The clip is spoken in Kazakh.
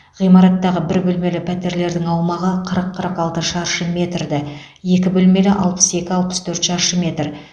ғимараттағы бір бөлмелі пәтерлердің аумағы қырық қырық алты шаршы метрді екі бөлмелі алпыс екі алпыс төрт шаршы метр